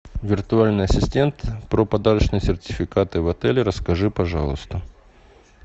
виртуальный ассистент про подарочные сертификаты в отеле расскажи пожалуйста